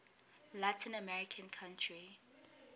latin american country